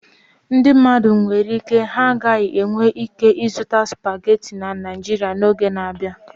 Ndị mmadụ nwere ike ha gaghị enwe ike ịzuta supagetii na Naijiria n'oge na-abịa.